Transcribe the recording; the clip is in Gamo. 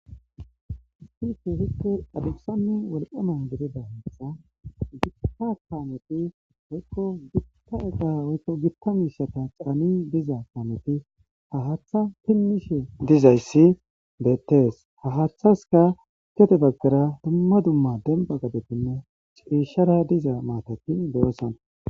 Issi kehippe adussane wolqqama gidida haththa gita kaameti woykko gita eqa woykko gitta mishshata caani diiza kaameti ha haththa finishshe dizaysi bettes ha haththasika gede baggara dumma dumma demba gaden cishshara diiza maatati de7oson.